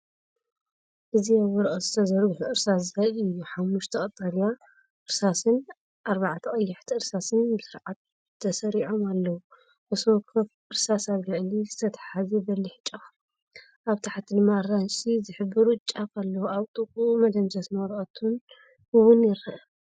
እዚ ኣብ ወረቐት ዝተዘርግሑ እርሳስ ዘርኢ እዩ። ሓሙሽተ ቀጠልያ እርሳስን ኣርባዕተ ቀያሕቲ እርሳስን ብስርዓት ተሰሪዖም ኣለዉ። ነፍሲ ወከፍ እርሳስ ኣብ ላዕሊ ዝተተሓሓዘ በሊሕ ጫፉ፡ኣብ ታሕቲ ድማ ኣራንሺ ዝሕብሩ ጫፍ ኣለዎ። ኣብ ጥቓኡ መደምሰስን ወረቐትን እውን ይርአ።